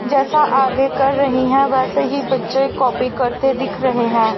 जैसा आगे कर रही हैं वैसे ही बच्चे कॉपी करते दिख रहे हैं।